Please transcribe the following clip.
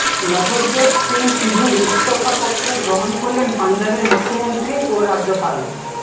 নভজ্যোৎ সিং সিধুর ইস্তফাপত্র গ্রহণ করলেন পঞ্জাবের মুখ্যমন্ত্রী ও রাজ্যপাল